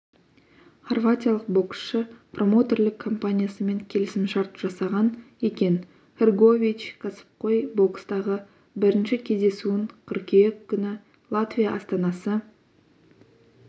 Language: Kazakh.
хорватиялық боксшы промоутерлік компаниясымен келісімшарт жасаған екен хргович кәсіпқой бокстағы бірінші кездесуін қыркүйек күні латвия астанасы